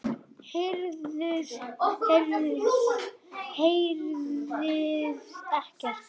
Heyrðuð ekkert?